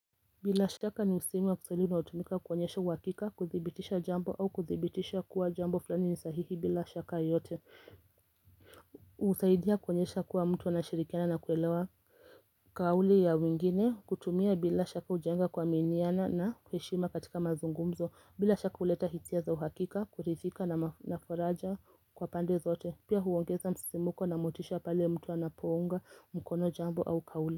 Bila shaka ni msemo wa kiswahili unaotumika kuonyesha uhakika, kuthibitisha jambo au kuthibitisha kuwa jambo fulani ni sahihi bila shaka yote husaidia kuonyesha kuwa mtu anashirikiana na kuelewa Kauli ya wengine. Kutumia bila shaka hujenga kuaminiana na heshima katika mazungumzo. Bila shaka huleta hisia za uhakika kuridhika na faraja kwa pande zote. Pia huongeza msisimko na motisha pale mtu anapounga mkono jambo au kauli.